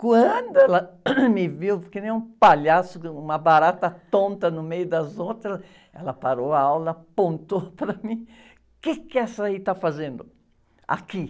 Quando ela me viu que nem um palhaço, uma barata tonta no meio das outras, ela parou a aula, apontou para mim, o quê que essa aí está fazendo aqui?